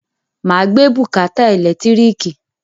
Màá gbé bùkátà ẹ̀lẹ́tíríkì